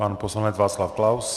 Pan poslanec Václav Klaus.